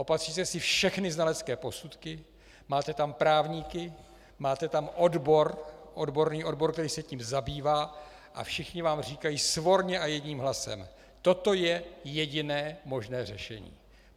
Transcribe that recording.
Opatříte si všechny znalecké posudky, máte tam právníky, máte tam odbor, odborný odbor, který se tím zabývá, a všichni vám říkají svorně a jedním hlasem: Toto je jediné možné řešení.